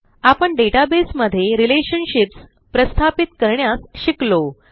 आपण डेटाबेस मध्ये रिलेशनशिप्स प्रस्थापित करण्यास शिकलो